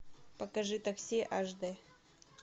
покажи такси аш д